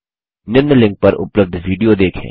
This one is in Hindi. निम्न लिंक पर उपलब्ध विडियो देखें